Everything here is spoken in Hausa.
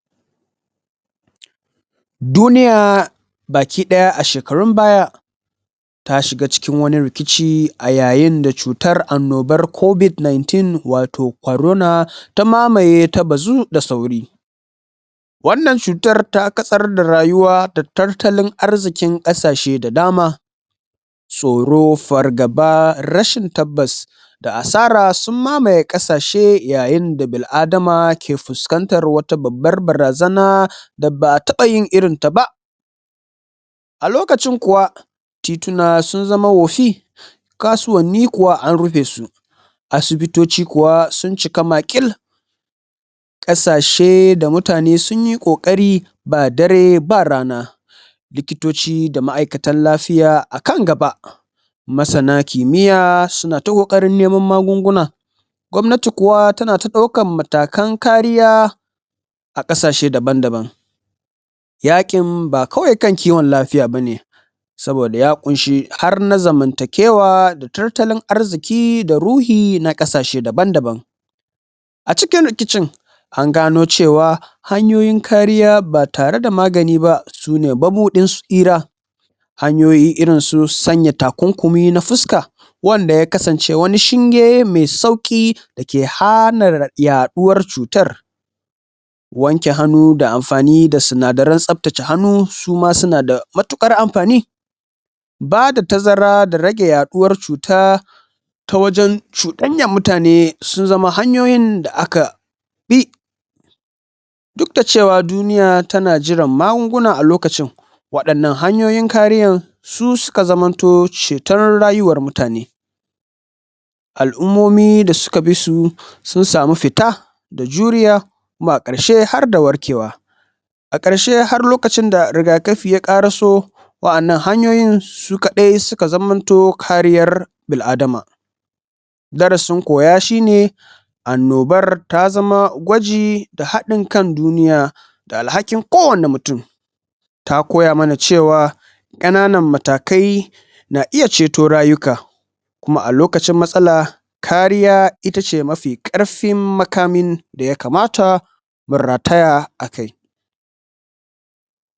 duniya baki ɗaya a shekarun baya ta shiga cikin wani rikici yayin da cutar annobar covid 19 wato corona ta mamaye basu da wannan cutar ta ka sarta rayuwa da tattalin arzikin kasashe da dama storo fargaba rashin tabbas da asara sun mamaye kasa she da yanayin da bil adama ke fuskantar wata babbar barazana da ba a taba yan irin ta ba a lokacin kuwa tituna sun zama hofi kasuwanni kuwa an rufe su asibitoci kuwa sun ciki maqil kasa she da muta ne sun yi kokari ba dare ba rana likitoci da ma aikatan lafiya akan gaba ma sana kimiya suna ta kokarin nemo magun guna gwanti kuwa tana ta daukan matakan kariya a kasa she daban daban yaƙin ba kawai kan kiwon lafiya bane saboda ya ƙunshi har na zamantake wa da tattalin arziki da ruhi na ƙasa she daban daban a cikin rikicin an gano cewa hanyoyi kariya ba tare da magani ba suna mabudin tsira hanyoyi irin su sanya takunkumi na fuska wan da ya kasan ce wani shinge mai sauki da ke hana yaduwar cutar wanke hanu da amfani da sinadarai tsaftace hanu suna da matiƙar amafani ba da tazara da rage ya duwar cuta ta wajen cudanyar mutane sun zama hanoyoyin da aka bi duk da cewa duniya tana jiran magun guna al okacin wa 'yanan hanyoyin kariyan su suka zamanto cetar rayuwar mutane al'umomi da suka bisu sun samu fita juriya kuma a ƙarshe harda warke wa a ƙarshe har lokacin da rigakfi ya ƙaraso wa 'yanan hanyoyin su kadai suka zamanto kariyar bil adama darasin koya shine annobar ta zama gwaji da hadin kan duniya\ da alhakin kowani mutun ta koya mana cewa\ ƙananan matakai na iya ceto rayuka kuma a lokacin matsala kariya ita ce mafi ƙarfin makamin da ya kamata mu rataya akai